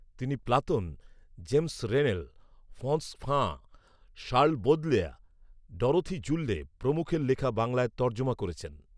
তিনি Platon, James Rennell, Frantz Fanon, Charles Baudelaire, Dorothee Soelle প্রমুখের লেখা বাংলায় তর্জমা করেছেন